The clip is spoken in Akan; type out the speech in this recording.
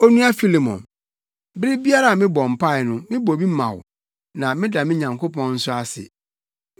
Onua Filemon, bere biara a mebɔ mpae no mebɔ bi ma wo na meda me Nyankopɔn nso ase.